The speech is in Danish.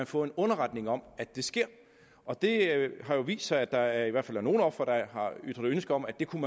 få en underretning om at det sker og det har jo vist sig at der er nogle ofre der har ytret ønske om at det kunne